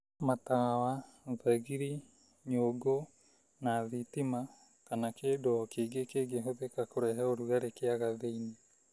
Matawa, thagiri, nyũngũ na thitima kana kĩndũ o kĩngĩ kĩngĩhũthĩka kũrehe ũrugarĩ kĩaga thĩinĩ.